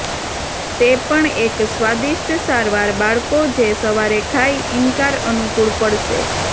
તે પણ એક સ્વાદિષ્ટ સારવાર બાળકો જે સવારે ખાય ઇનકાર અનુકૂળ પડશે